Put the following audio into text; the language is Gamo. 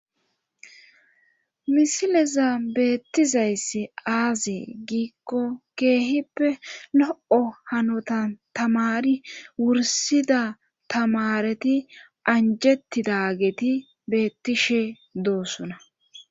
Misilezan beetizayssi aaze giiko keehippe lo'o hanotan tamari wursida tamareti anjetidageti beetishe de'osona.